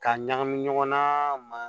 K'a ɲagami ɲɔgɔnna ma